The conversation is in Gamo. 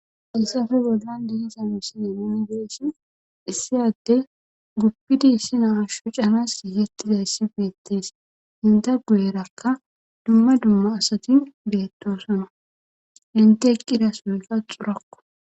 hayssape bollan de7iza misilen nuuni be7ishin issi addey guppidi issi na7aa shocanaassi gigettizayssi beettes;enta guyerakka dumma dumma asathi beettoosona;enthi eqqida sohoykka corakko.